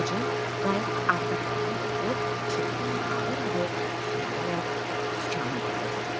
qayığın arxa tərəfində oturub, çubuğunu ağır-ağır sümürərək sükanı idarə edirdi.